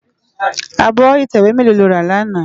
Ábò itèwé mèló ló rá làná?